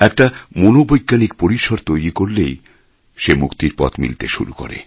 একটা মনোবৈজ্ঞানিক পরিসর তৈরি করলেই সে মুক্তির পথ মিলতে শুরু করে